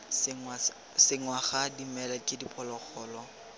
senngwa ga dimela ke diphologolo